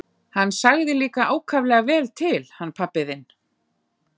Hann sagði líka ákaflega vel til hann pabbi þinn.